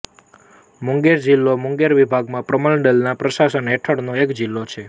મુંગેર જિલ્લો મુંગેર વિભાગ પ્રમંડલના પ્રશાસન હેઠળનો એક જિલ્લો છે